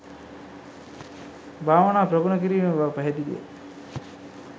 භාවනා ප්‍රගුණ කිරීම බව පැහැදිලි ය